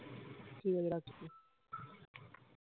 ঠিকাছে রাখ